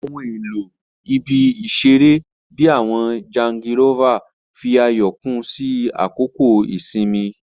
Ohun elo ibi-iṣere, bii awọn jangilova, fi ayọ kún sí àkókò ìsinmi.